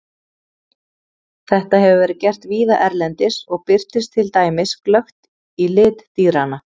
Þetta hefur verið gert víða erlendis og birtist til dæmis glöggt í lit dýranna.